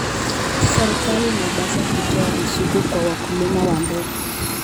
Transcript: Serikali inapaswa kutoa ruzuku kwa wakulima wa ndogo.